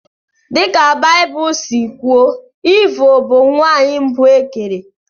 Dị ka Baịbụl si kwuo, Eve bụ nwanyị mbụ e kere.